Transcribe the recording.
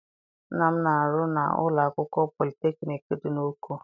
Nna m na-arụ na ụlọ akwụkwọ politekniik dị n'Oko.